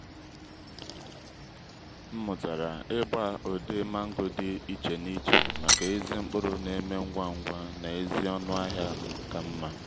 m mụ́tàrà ị́gbà ụ̀dị́ mángò di iché n'iché màkà èzi mkpụ́rụ́ n'eme ngwá ngwá na ezi ọ́nụ́ ahịa kà mma.